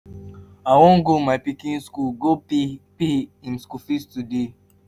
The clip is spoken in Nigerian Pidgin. i wan go my pikin school go pay pay im school fees today